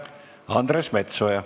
Andres Metsoja.